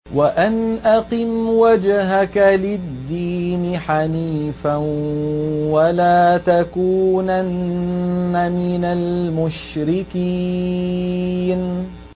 وَأَنْ أَقِمْ وَجْهَكَ لِلدِّينِ حَنِيفًا وَلَا تَكُونَنَّ مِنَ الْمُشْرِكِينَ